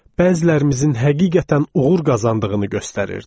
Bəzilərimizin həqiqətən uğur qazandığını göstərirdi.